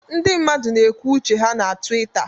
Ndị mmadụ na-ekwu uche ha na Twitter